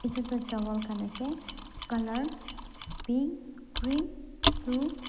itu toh chawal khan ase color pink green blue .